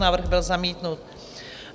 Návrh byl zamítnut.